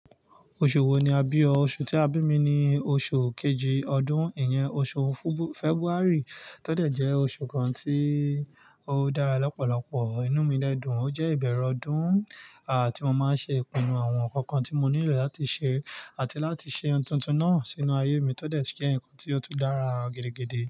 Oṣù wo ni a bí o? Oṣù tí a bí mi ni oṣù kejì ọdún, ìyẹn oṣù Fẹ́bààrì, tó dẹ̀ jẹ́ oṣù kan tí ó dára lọ́pọ̀lọpọ̀. Inú mi dẹ́dùn, ó jẹ́ ìbẹ̀erẹ̀ ọdún ti mo máa ń ṣe ìpinnu àwọn ǹkan kan tí mo nílò láti ṣe àti láti ṣe ohun tuntun náà sínú ayé mi tó dẹ̀ si je ǹkan tí ó tún dára gidigidi.